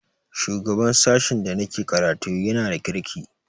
Shugaban sashen da na ke karatu ya na da kirki